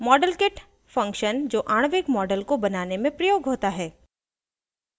* modelkit function जो आणविक models को बनाने में प्रयोग होता है